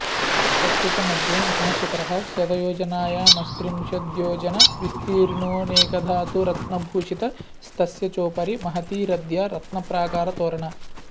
तस्य च मध्ये महाशिखरः शतयोजनायामस्त्रिंशद्योजनविस्तीर्णोऽनेकधातुरत्नभूषितस्तस्य चोपरि महती रथ्या रत्नप्राकारतोरणा